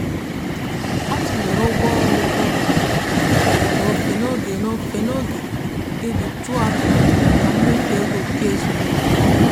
ha degharịrị ego njem ụgbọala ha mgbe ha hụrụ mmụba nke ọnụ mmanụ ụgbọala n'ọnwa gara aga.